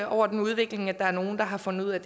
over den udvikling at der er nogle der har fundet ud af